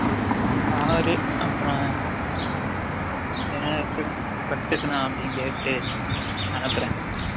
பாரு அப்ரம் கட்டுக்குனா அப்டினு கேட்டு அனுப்ரேன்